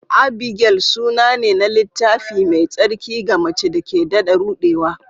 Abigail suna ne na Littafi Mai Tsarki ga mace da ke daɗa ruɗewa.